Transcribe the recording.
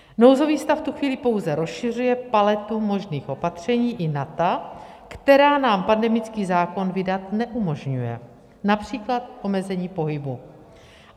Nouzový stav v tu chvíli pouze rozšiřuje paletu možných opatření i na ta, která nám pandemický zákon vydat neumožňuje, například omezení pohybu.